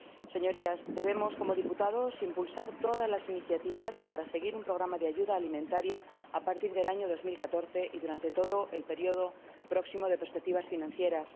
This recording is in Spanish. Señorías, debemos, como diputados, impulsar todas las iniciativas para seguir aplicando un programa de ayuda alimentaria a partir del año 2014 y durante todo el próximo periodo de perspectivas financieras.